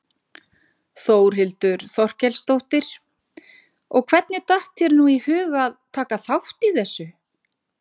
Þórhildur Þorkelsdóttir: Og hvernig datt þér nú í hug að taka þátt í þessu?